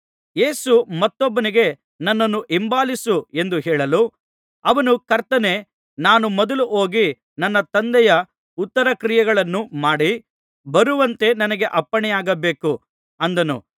ಯೇಸು ಮತ್ತೊಬ್ಬನಿಗೆ ನನ್ನನ್ನು ಹಿಂಬಾಲಿಸು ಎಂದು ಹೇಳಲು ಅವನು ಕರ್ತನೇ ನಾನು ಮೊದಲು ಹೋಗಿ ನನ್ನ ತಂದೆಯ ಉತ್ತರಕ್ರಿಯೆಗಳನ್ನು ಮಾಡಿ ಬರುವಂತೆ ನನಗೆ ಅಪ್ಪಣೆಯಾಗಬೇಕು ಅಂದನು